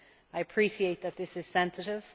I appreciate that this is sensitive.